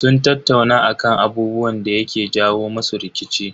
Sun tattauna akan abubuwan da yake jawo musu rikici.